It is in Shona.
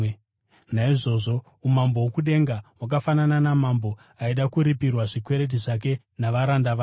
“Naizvozvo, umambo hwokudenga hwakafanana namambo aida kuripirwa zvikwereti zvake navaranda vake.